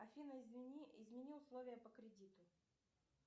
афина извини измени условия по кредиту